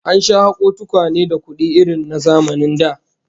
An sha hako tukwane da kudi irin na zamanin da